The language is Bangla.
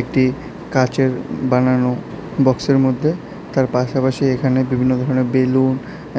একটি কাচের বানানো বক্সের মধ্যে তার পাশাপাশি এখানে বিভিন্ন ধরনের বেলুন